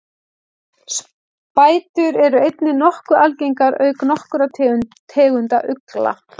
spætur eru einnig nokkuð algengar auk nokkurra tegunda ugla